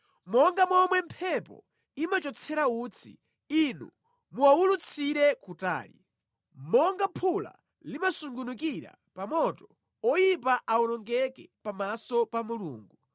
Monga momwe mphepo imachotsera utsi; Inu muwawulutsire kutali. Monga phula limasungunukira pa moto, oyipa awonongeke pamaso pa Mulungu.